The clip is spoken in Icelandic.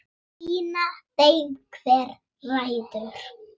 Sýna þeim hver ræður.